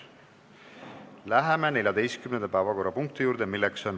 Läheme 14. päevakorrapunkti juurde.